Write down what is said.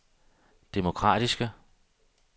demokratiske